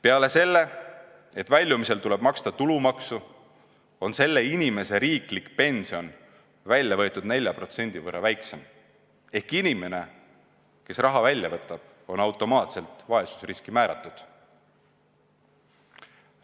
Peale selle, et väljumisel tuleb maksta tulumaksu, on selle inimese riiklik pension väljavõetud 4% võrra väiksem, ehk inimene, kes raha välja võtab, on automaatselt vaesusriski määratud.